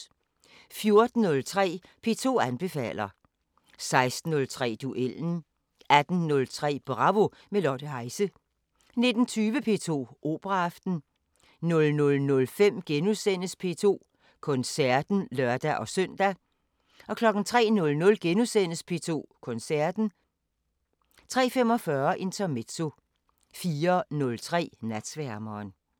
14:03: P2 anbefaler 16:03: Duellen 18:03: Bravo – med Lotte Heise 19:20: P2 Operaaften 00:05: P2 Koncerten *(lør-søn) 03:00: P2 Koncerten * 03:45: Intermezzo 04:03: Natsværmeren